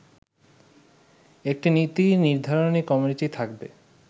একটি নীতি নির্ধারণী কমিটি থাকবে